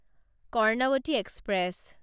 Karnavati express